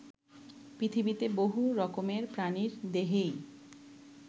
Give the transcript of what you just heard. পৃথিবীতে বহু রকমের প্রাণীর দেহেই